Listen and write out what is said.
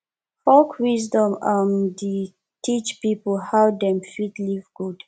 folk wisdom um dey teach pipo how dem fit live good